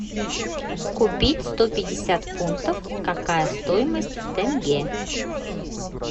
купить сто пятьдесят фунтов какая стоимость в тенге